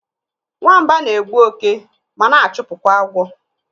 Nwamba na-egbu òké ma na-chụpụ kwa agwọ.